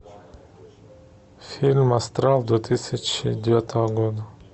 фильм астрал две тысячи девятого года